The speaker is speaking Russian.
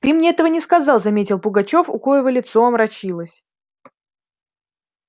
ты мне этого не сказал заметил пугачёв у коего лицо омрачилось